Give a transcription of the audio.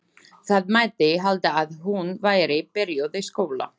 Það mætti halda að hún væri byrjuð í skóla.